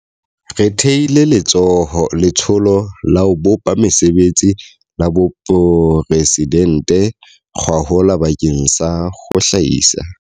Re thehile Letsholo la ho Bopa Mesebetsi la Boporesi dente gwahola bakeng sa ho hlahisa.